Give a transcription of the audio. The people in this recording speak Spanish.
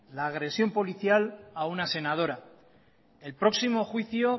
la agresión policial a una senadora el próximo juicio